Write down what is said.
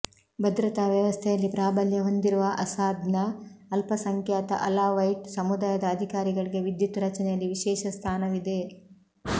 ಭದ್ರತಾ ವ್ಯವಸ್ಥೆಯಲ್ಲಿ ಪ್ರಾಬಲ್ಯ ಹೊಂದಿರುವ ಅಸ್ಸಾದ್ನ ಅಲ್ಪಸಂಖ್ಯಾತ ಅಲಾವೈಟ್ ಸಮುದಾಯದ ಅಧಿಕಾರಿಗಳಿಗೆ ವಿದ್ಯುತ್ ರಚನೆಯಲ್ಲಿ ವಿಶೇಷ ಸ್ಥಾನವಿದೆ